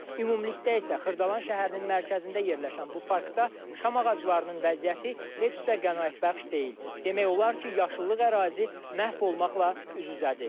Ümumilikdə isə Xırdalan şəhərinin mərkəzində yerləşən bu parkda şam ağaclarının vəziyyəti heç də qənaətbəxş deyil, demək olar ki, yaşıllıq ərazisi məhv olmaqla üz-üzədir.